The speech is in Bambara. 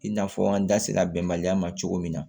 I n'a fɔ an da sera bɛnbaliya ma cogo min na